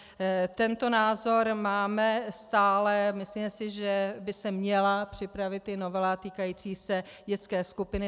Tento názor máme stále, myslíme si, že by se měla připravit i novela týkající se dětské skupiny.